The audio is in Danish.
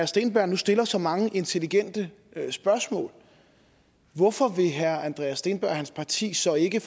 steenberg nu stiller så mange intelligente spørgsmål hvorfor vil herre andreas steenberg og hans parti så ikke